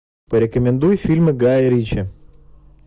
порекомендуй фильмы гая ричи